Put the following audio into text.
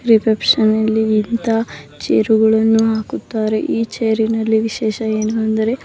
reception ನಲ್ಲಿ ಇಂತ chair ಗಳನ್ನು ಹಾಕುತ್ತಾರೆ ಈ ಚೇರ್ನಲ್ಲಿ ವಿಶೇಷ ಏನು ಅಂದರೆ --